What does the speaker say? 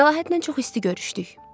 Məlahətlə çox isti görüşdük.